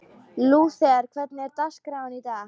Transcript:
Lúther, hvernig er dagskráin í dag?